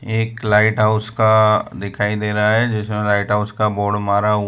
एक lighthouse का दिखाई दे रहा है जिसमें लाइट हाउस का बोर्ड मारा हुआ--